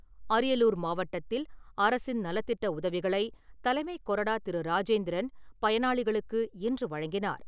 அரியலூர் மாவட்டத்தில் அரசின் நலத்திட்ட உதவிகளைத் தலைமைக் கொறடா திரு. ராஜேந்திரன் பயனாளிகளுக்கு இன்று வழங்கினார்.